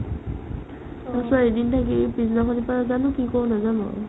তাৰ পিছত এদিন থাকি পিছদিনাখনৰ পৰাই জানো কি কৰো নাজানো আৰু